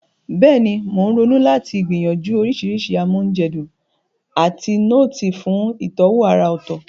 Bẹ́ẹ̀ni, mò ń ronú láti gbìyànjú oríṣiríṣi amoúnjedun àti nọ́ọ̀tì fún ìtọ́wò àrà ọ̀tọ̀.